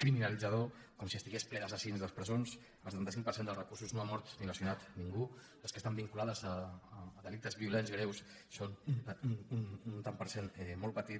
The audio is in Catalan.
criminalitzador com si estiguessin plenes d’assassins les presons el setanta cinc per cent dels reclusos no ha mort ni lesionat ningú les que estan vinculades a delictes violents greus són un tant per cent molt petit